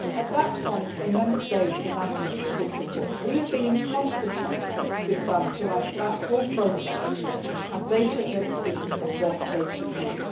At that point, a Member State was asked to give support. We have been in constant touch with France throughout that whole process, as they took their decision on what they should do.